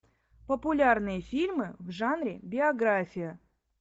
популярные фильмы в жанре биография